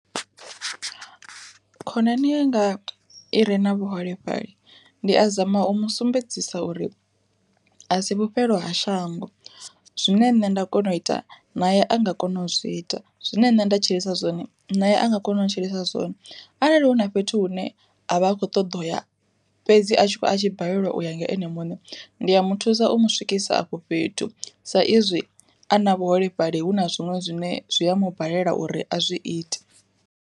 Khonani yanga i re na vhuholefhali, ndi a zama u musumbedzisa uri a si vhufhelo ha shango zwine nṋe nda kona u ita naye a nga kona u zwi ita, zwine nṋe nda tshilisa zwone naye a nga kona u tshilisa zwone. Arali hu na fhethu hune avha a kho ṱoḓa uya, fhedzi a tshi kho a tshi balelwa u ya nga ene muṋe ndi ya muthusa u mu swikisa afho fhethu sa izwi a na vhuholefhali hu na zwiṅwe zwine zwi a mu balela uri a zwi ite.